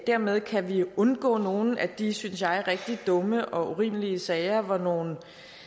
dermed kan vi undgå nogle af de synes jeg rigtig dumme og urimelige sager hvor nogle